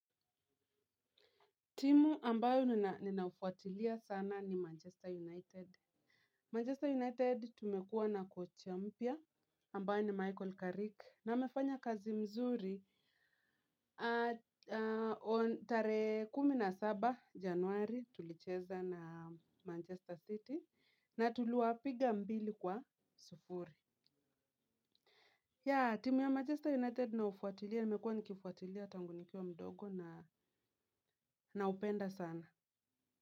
Timu ambayo ninaufuatilia sana ni Manchester United Manchester United tumekuwa na coach ya mpya ambayo ni Michael Carrick na amefanya kazi mzuri. Tare kumi na saba januari tulicheza na Manchester City na tuliwa piga mbili kwa sufuri. Timu ya Manchester United ninaufuatilia na mekua nikifuatilia tangunikiwa mdogo naupenda sana.